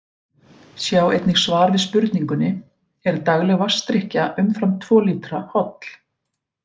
Sjá einnig svar við spurningunni Er dagleg vatnsdrykkja umfram tvo lítra holl?